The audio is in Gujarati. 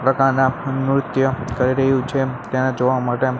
પ્રકારના નૃત્ય કરી રહ્યું છે તેને જોવા માટે--